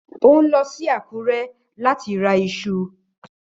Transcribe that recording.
Ó ń lọ sí Akure láti ra iṣu